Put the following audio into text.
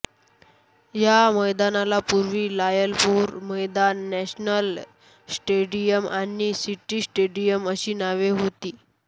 या मैदानाला पूर्वी लायलपूर मैदान नॅशनल स्टेडियम आणि सिटी स्टेडियम अशी नावे होती